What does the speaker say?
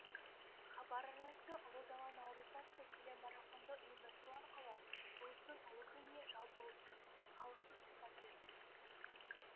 хабар арнасы ұлы дала наурызы атты телемарафонды ұйымдастыру арқылы ұлыстың ұлы күніне жалпы ұлттық халықтық сипат беріп отыр